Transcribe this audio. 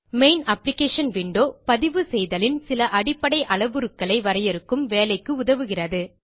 main application window பதிவுசெய்தலின் சில அடிப்படை அளவுருக்களை வரையறுக்கும் வேலைக்கு உதவுகிறது